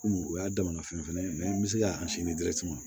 Komi o y'a damana fɛn fɛnɛ ye n be se ka sin di ma